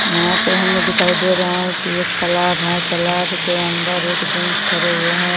यहाँ पे हमें दिखाई दे रहा है की एक तलाब है तलाब के अंदर एक जेंट्स खड़े हुए हैं।